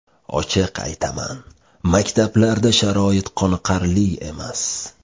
Ochiq aytaman, maktablarda sharoit qoniqarli emas.